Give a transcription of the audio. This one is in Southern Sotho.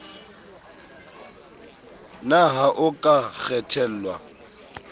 na ha o ka kgethelwa